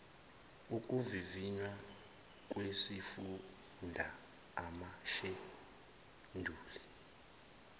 okuvivinya lwesifunda amasheduli